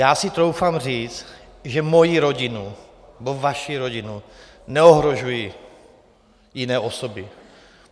Já si troufám říct, že moji rodinu nebo vaši rodinu neohrožují jiné osoby.